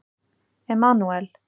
Emanúel